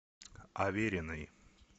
авериной